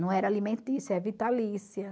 Não era alimentícia, é vitalícia.